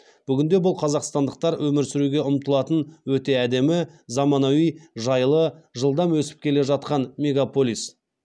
бүгінде бұл қазақстандықтар өмір сүруге ұмтылатын өте әдемі заманауи жайлы жылдам өсіп келе жатқан мегаполис